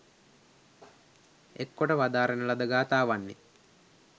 එක්කොට වදාරණ ලද ගථාවන්ය